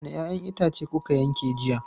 Wanne 'ya'yan itace kuka yanke jiya?